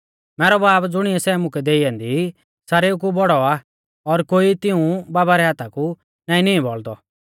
मैरौ बाब ज़ुणिऐ सै मुकै देई ऐन्दी ई सारेऊ कु बौड़ौ आ और कोई तिऊं बाबा रै हाथा कु नाईं नींई बौल़दौ